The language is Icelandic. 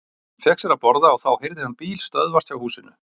Hann fékk sér að borða og þá heyrði hann bíl stöðvast hjá húsinu.